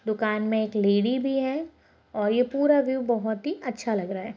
दुकान में एक लेडी भी है और ये पूरा व्यू बहोत ही अच्छा लग रहा है।